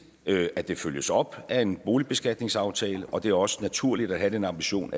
at det følges op af en boligbeskatningsaftale og det er også naturligt at have den ambition